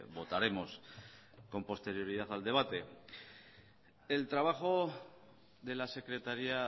votaremos con posterioridad al debate el trabajo de la secretaría